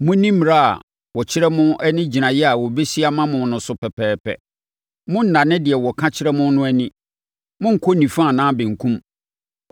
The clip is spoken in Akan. Monni mmara a wɔkyerɛ mo ne gyinaeɛ a wɔbɛsi ama mo no so pɛpɛɛpɛ. Monnnane deɛ wɔka kyerɛ mo no ani. Monnkɔ nifa anaa benkum.